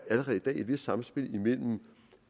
et vist samspil mellem